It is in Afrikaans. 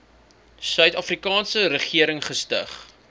suidafrikaanse regering gestig